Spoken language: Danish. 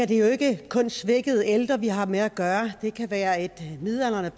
det jo ikke kun er svækkede ældre vi har med at gøre det kan være en midaldrende